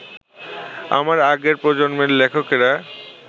আমার আগের প্রজন্মের লেখকেরা